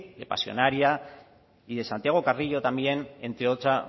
de pasionaria y de santiago carrillo también entre otra